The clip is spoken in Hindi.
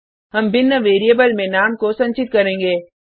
हम भिन्न वेरिएबल में नाम को संचित करेंगे